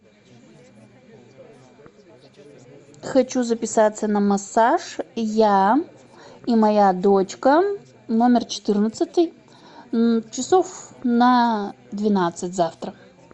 хочу записаться на массаж я и моя дочка номер четырнадцатый часов на двенадцать завтра